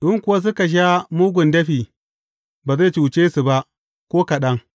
In kuwa suka sha mugun dafi, ba zai cuce su ba ko kaɗan.